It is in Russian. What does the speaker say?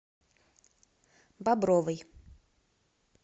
бобровой